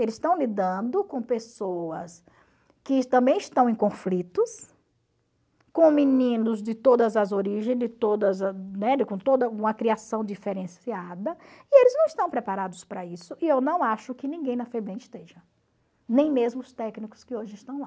Eles estão lidando com pessoas que também estão em conflitos, com meninos de todas as origens, de todas, né, com toda uma criação diferenciada, e eles não estão preparados para isso e eu não acho que ninguém na FEBEM esteja, nem mesmo os técnicos que hoje estão lá.